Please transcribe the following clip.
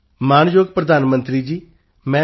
ਮਾਣਯੋਗ ਪ੍ਰਧਾਨ ਮੰਤਰੀ ਜੀ ਮੈਂ ਡਾ